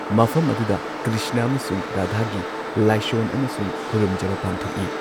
ꯃꯐꯝ ꯑꯗꯨꯗ ꯀ꯭ꯔꯤꯁꯅ ꯑꯃꯁꯨꯡ ꯔꯥꯙꯥꯒꯤ ꯂꯥꯢꯁꯣꯟ ꯑꯃꯁꯨꯡ ꯈꯨꯔꯨꯝꯖꯕ ꯄꯥꯡꯊꯣꯛꯏ꯫